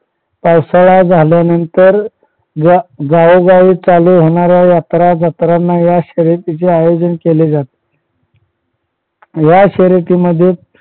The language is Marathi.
पावसाळा झाल्यानांतर या गावोगावी चालू होणाऱ्या यात्रा जत्राना या खेळाचे आयोजन केले जाते. या शर्यतीमध्ये